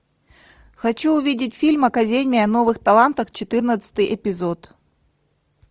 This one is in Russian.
хочу увидеть фильм академия новых талантов четырнадцатый эпизод